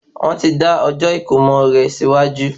Wọ́n ti dá ọjọ́ ìkómo rè síwájú